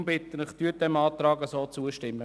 Deshalb bitte ich Sie, dem Antrag zuzustimmen.